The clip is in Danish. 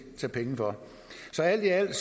tage penge for så alt i alt